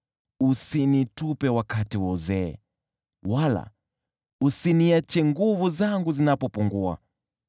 Usinitupe wakati wa uzee, wala usiniache nguvu zangu zinapopungua.